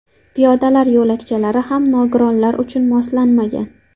Piyodalar yo‘lakchalari ham nogironlar uchun moslanmagan.